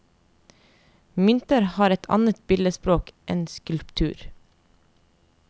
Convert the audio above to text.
Mynter har et annet billedspråk enn skulptur.